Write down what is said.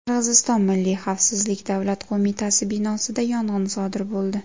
Qirg‘iziston Milliy xavfsizlik davlat qo‘mitasi binosida yong‘in sodir bo‘ldi.